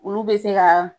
Olu bɛ se ka